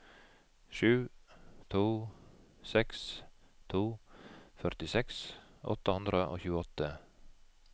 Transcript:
sju to seks to førtiseks åtte hundre og tjueåtte